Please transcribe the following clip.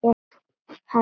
Hann er alveg hreinn.